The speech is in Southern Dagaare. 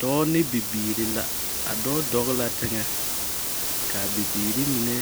Dɔɔ ne bibiiri la. A dɔɔ dɔge la teŋɛ. Kaa bibiiri mine